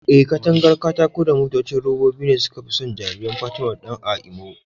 Eh, katangar katako da motocin robobi ne suka fi so jariran Fatima da Dan a Imo.